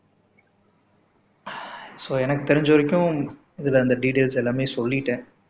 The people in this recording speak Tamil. சோ எனக்கு தெரிஞ்ச வரைக்கும் இதுல இந்த டீடெயில்ஸ் எல்லாமே சொல்லிட்டேன்